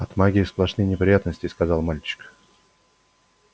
от магии сплошные неприятности сказал мальчик